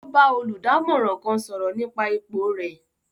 O bà olùdámọ̀ràn kán sọrọ nípa ipò rẹ